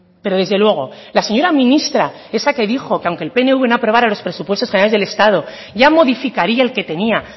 pero desde luego la señora ministra esa que dijo que aunque el pnv no aprobará los presupuestos generales del estado ya modificaría el que tenia